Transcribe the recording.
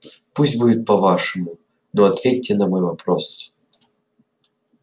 пусть будет по-вашему но ответьте на мой вопрос